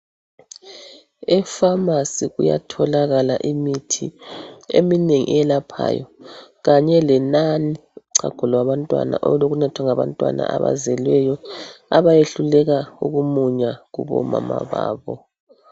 Efamasi kuyatholakala imithi eminengi eyelaphayo kanye lenani uchago lwabantwana, olokunathwa ngabantwana abazelweyo abayehluleka ukumunya kubomama babo.